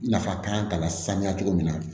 Nafa kan lasaniya cogo min na